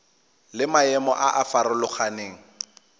le maemo a a farologaneng